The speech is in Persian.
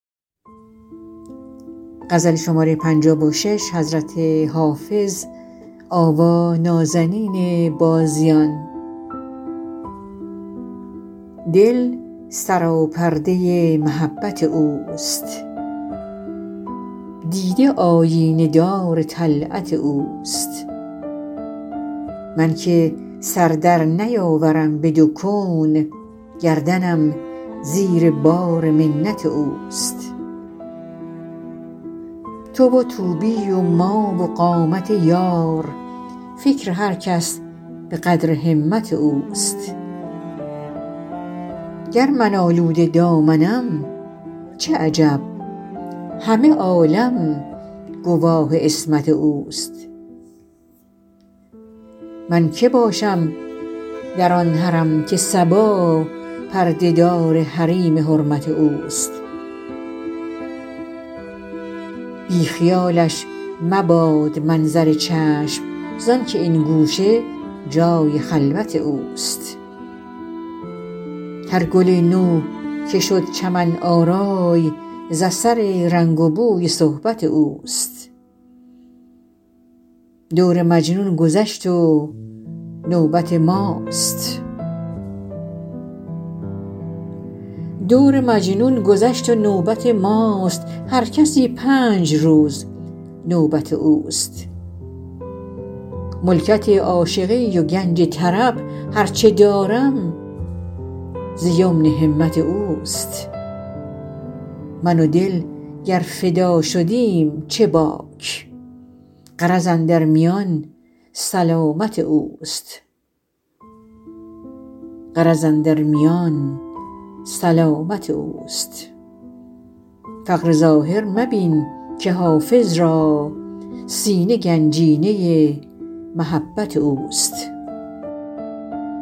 دل سراپرده محبت اوست دیده آیینه دار طلعت اوست من که سر در نیاورم به دو کون گردنم زیر بار منت اوست تو و طوبی و ما و قامت یار فکر هر کس به قدر همت اوست گر من آلوده دامنم چه عجب همه عالم گواه عصمت اوست من که باشم در آن حرم که صبا پرده دار حریم حرمت اوست بی خیالش مباد منظر چشم زآن که این گوشه جای خلوت اوست هر گل نو که شد چمن آرای ز اثر رنگ و بوی صحبت اوست دور مجنون گذشت و نوبت ماست هر کسی پنج روز نوبت اوست ملکت عاشقی و گنج طرب هر چه دارم ز یمن همت اوست من و دل گر فدا شدیم چه باک غرض اندر میان سلامت اوست فقر ظاهر مبین که حافظ را سینه گنجینه محبت اوست